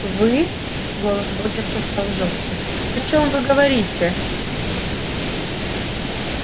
вы голос богерта стал жёстким о чём вы говорите